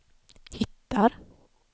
hittar